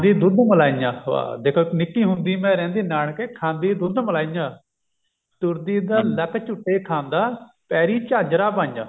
ਦੁੱਧ ਮਲਾਈਆਂ ਵਾਹ ਦੇਖੋ ਨਿੱਕੀ ਹੁੰਦੀ ਮੈਂ ਰਹਿੰਦੀ ਨਾਨਕੇ ਖਾਂਦੀ ਦੁੱਧ ਮਲਾਈਆਂ ਤੁਰਦੀ ਦਾ ਲੱਕ ਝੂਟੇ ਖਾਂਦਾ ਪੈਰੀ ਝਾਂਜਰਾਂ ਪਾਈਆਂ